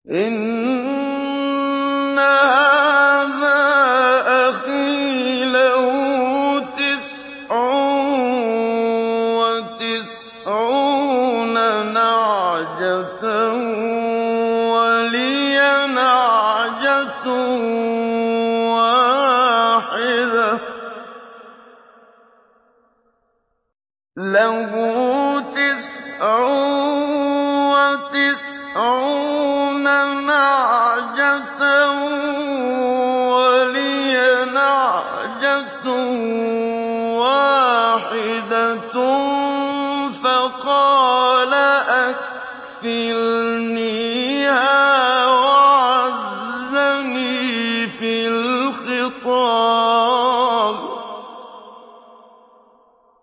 إِنَّ هَٰذَا أَخِي لَهُ تِسْعٌ وَتِسْعُونَ نَعْجَةً وَلِيَ نَعْجَةٌ وَاحِدَةٌ فَقَالَ أَكْفِلْنِيهَا وَعَزَّنِي فِي الْخِطَابِ